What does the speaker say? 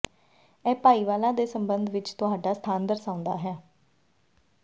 ਇਹ ਭਾਈਵਾਲਾਂ ਦੇ ਸਬੰਧ ਵਿੱਚ ਤੁਹਾਡਾ ਸਥਾਨ ਦਰਸਾਉਂਦਾ ਹੈ